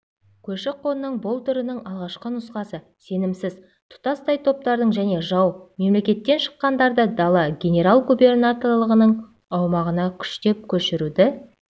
көші-қонның бұл түрінің алғашқы нұсқасы сенімсіз тұтастай топтардың және жау мемлекеттен шыққандарды дала генерал-губернаторлығының аумағына күштеп көшіруді